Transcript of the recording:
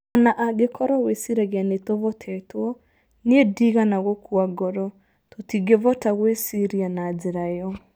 O na angĩkorũo wĩciragia nĩ tũvotetwo, niĩ ndiigana gũkua ngoro - tũtingĩvota gwĩciria na njĩra ĩyo.